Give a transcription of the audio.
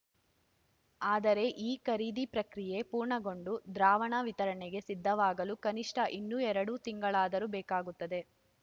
ಆದರೆ ಈ ಖರೀದಿ ಪ್ರಕ್ರಿಯೆ ಪೂರ್ಣಗೊಂಡು ದ್ರಾವಣ ವಿತರಣೆಗೆ ಸಿದ್ಧವಾಗಲು ಕನಿಷ್ಠ ಇನ್ನು ಎರಡು ತಿಂಗಳಾದರೂ ಬೇಕಾಗುತ್ತದೆ